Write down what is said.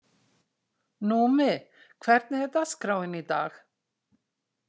Númi, hvernig er dagskráin í dag?